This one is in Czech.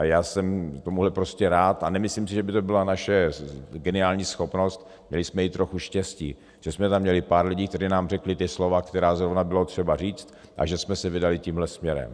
A já jsem tomuhle prostě rád a nemyslím si, že by to byla naše geniální schopnost, měli jsme i trochu štěstí, že jsme tam měli pár lidí, kteří nám řekli ta slova, která zrovna bylo třeba říct a že jsme se vydali tímhle směrem.